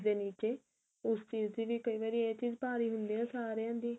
ਦੇ ਨੀਚੇ ਉਸ ਚੀਜ ਦੀ ਵੀ ਕਈ ਵਾਰੀ ਇਹ ਚੀਜ ਭਾਰੀ ਹੁੰਦੀ ਏ ਸਾਰੀਆ ਦੀ